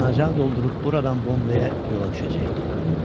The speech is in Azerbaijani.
Yanacağı doldurub buradan bombeyə yola düşəcəkdi.